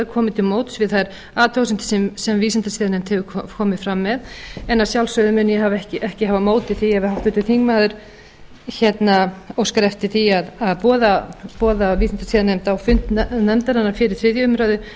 komið til móts við þær athugasemdir sem vísindasiðanefnd hefur komið fram með en að sjálfsögðu mun ég ekki hafa á móti því ef háttvirtur þingmaður óskar eftir að boða vísindasiðanefnd á fund nefndarinnar fyrir þriðju umræðu